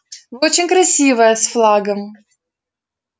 вы очень красивая с флагом